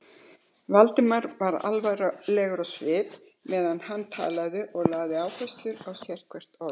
Valdimar var alvarlegur á svip, meðan hann talaði, og lagði áherslu á sérhvert orð.